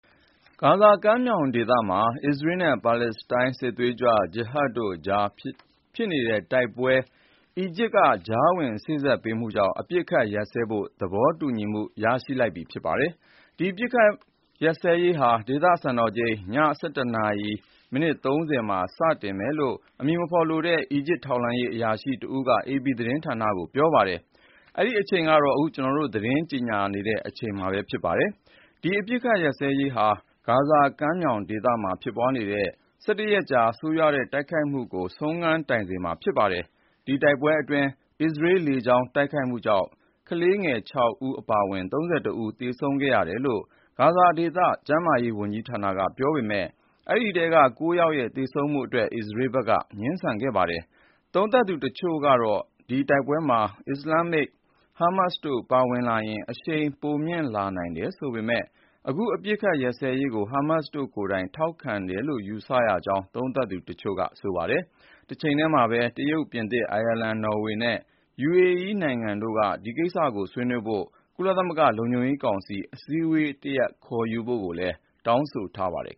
ဂါဇာကမ်းမြှောင်ဒေသမှာ အစ္စရေးနဲ့ ပါလက်စတိုင်းစစ်သွေးကြွ Jihad တို့ အကြား ဖြစ်ပွားနေကြတဲ့ တိုက်ပွဲတွေကို အီဂျစ်နိုင်ငံက ကြားဝင်စေ့စပ်ပေးမှုကြောင့် အပစ်အခတ် ရပ်စဲဖို့ သဘောတူညီမှုရရှိလိုက်ပြီ ဖြစ်ပါတယ်။ ဒီအပစ်ရပ်စဲရေးဟာ ဒေသစံတော်ချိန် ည ၁၁ နာရီ ၃၀ မီနစ်မှာ စတင်မယ်လို့ အမည်မဖော်လိုတဲ့ အီဂျစ် ထောက်လှမ်းရေးအရာရှိတဦးက AP သတင်း ဌာနကို ပြောပါတယ်။ ဒီအပစ်အခတ် ရပ်စဲရေးဟာ ဂါဇာကမ်းမြောင်ဒေသမှာ ဖြစ်ပွားနေတဲ့ ၁၁ ရက်ကြာ ဆိုးရွာတဲ့ တိုက်ခတ်မှုတွေကို ဆုံးခန်းတိုင်စေမှာ ဖြစ်ပါတယ်။ ဒီတိုက်ပွဲအတွင်း အစ္စရေး လေကြောင်းတိုက်ခိုက်မှုကြောင့် ကလေး ၆ ဦး အပါအဝင် ၃၁ ဦး သေဆုံးခဲ့ရတယ်လို့ ဂါဇာဒေသ ကျမ်းမာရေးဝန်ကြီးဌာနက ပြောပေမယ့် ဒီအထဲက ၉ ယောက်ရဲ့ သေဆုံးရမှုအတွက် အစ္စရေးဖက်က ငြင်းဆန်ခဲ့ပါတယ်။ သုံးသပ်သူတချို့က ဒီတိုက်ပွဲမှာ အစ္စလမ္မစ် Hamaz တို့ ပါဝင်လာရင် အရှိန်ပိုမြင့်လာနိုင်တယ်လို့ ဆိုပေမယ့် အခုအပစ်အခတ် ရပ်စဲရေးကို Hamaz တို့ ကိုယ်တိုင် ထောက်ခံတယ်လို့ ယူဆရကြောင်းလည်း သုံးသပ်သူတချို့က ဆိုပါတယ်။ တချိန်ထဲမှာပဲ တရုတ်၊ ပြင်သစ် ၊ အိုင်ယာလန်၊ နော်ဝေးနဲ့ ယူအေအီး နိုင်ငံတို့က ဒီကိစ္စအတွက် ကုလသမဂ္ဂ လုံခြုံရေးကောင်စီ အစည်းအဝေးတရပ် ခေါ်ယူဖို့ တောင်းဆိုထားပါတယ်